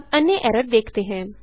अब अन्य एरर देखते हैं